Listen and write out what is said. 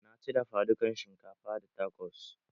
Na ci dafa dukan shinkafa da takos